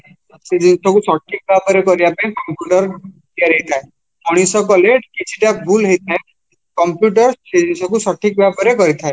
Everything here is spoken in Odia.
ସେ ଜିନିଷକୁ ସଠିକ ଭାବରେ କରିବା ପାଇଁ computer ତିଆରିହେଇଥାଏ ମଣିଷ କଲେ କିଛିଟା ଭୁଲ ହେଇଥାଏ computer ଏ ଜିନିଷକୁ ସଠିକ ଭାବରେ କରିଥାଏ